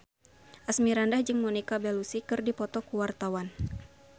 Asmirandah jeung Monica Belluci keur dipoto ku wartawan